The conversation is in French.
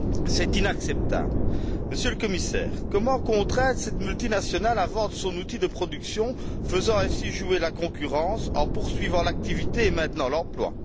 C'est inacceptable. Monsieur le Commissaire, comment contraindre cette multinationale à vendre son outil de production, faisant ainsi jouer la concurrence en poursuivant l'activité et en maintenant l'emploi?